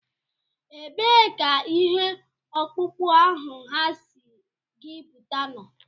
Ebee ka ihe ọkpụkpụ ahụ ha sị gị bute nọ?